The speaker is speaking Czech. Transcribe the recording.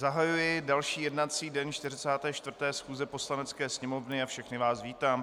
Zahajuji další jednací den 44. schůze Poslanecké sněmovny a všechny vás vítám.